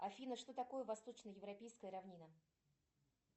афина что такое восточно европейская равнина